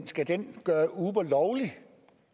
skal den gøre uber lovlig